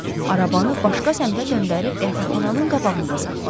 Arabanı başqa səmtə döndərib qəfəxananın qabağında saxladı.